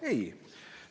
Ei!